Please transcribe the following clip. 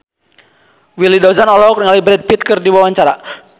Willy Dozan olohok ningali Brad Pitt keur diwawancara